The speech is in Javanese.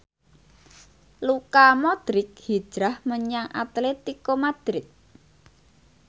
Luka Modric hijrah menyang Atletico Madrid